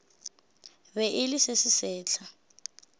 be e le se sesehla